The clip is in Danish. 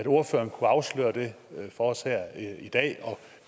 ordføreren afsløre det for os her i dag og